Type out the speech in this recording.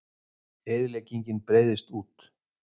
Eyðileggingin breiðist út